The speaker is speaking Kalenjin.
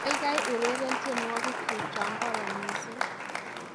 kaigai ureren tyenwogikyuk chagororon missing